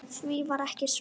Því var ekki svarað.